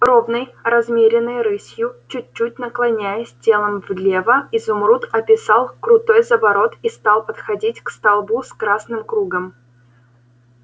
ровной размеренной рысью чуть-чуть наклоняясь телом влево изумруд описал крутой заворот и стал подходить к столбу с красным кругом